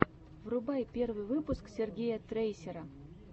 врубай первый выпуск сергея трейсера